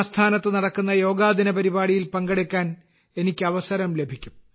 ആസ്ഥാനത്ത് നടക്കുന്ന യോഗാദിന പരിപാടിയിൽ പങ്കെടുക്കാൻ എനിക്ക് അവസരം ലഭിക്കും